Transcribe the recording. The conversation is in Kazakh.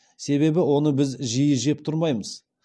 себебі оны біз жиі жеп тұрмаймыз